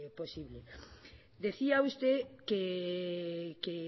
posible decía usted que